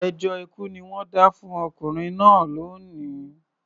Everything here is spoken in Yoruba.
Ẹjọ́ ikú ni wọ́n dá fún ọkùnrin náà lónìí